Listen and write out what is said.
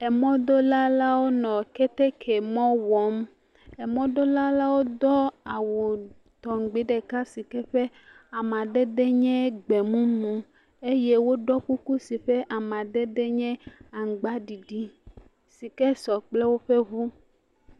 Emɔdola la wo nɔ keteke mɔ wɔm. emɔdola la wo do awu tɔŋgbi ɖeka si ke ƒe amadede nye gbemumu eye woɖɔ kuku si ƒe amadede nye aŋgbaɖiɖi si ke sɔ kple woƒe ŋu.